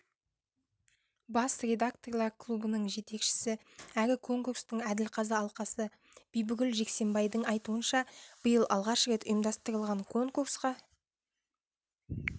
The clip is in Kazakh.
бас редакторлар клубының жетекшісі әрі конкурстың әділқазы алқасы бибігүл жексенбайдың айтуынша биыл алғаш рет ұйымдастырылған конкурсқа